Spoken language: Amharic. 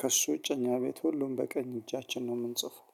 ከእሱ ውጭ እኛ ቤት ሁሉም በቀኝ እጃችን ነው የምንጽፈው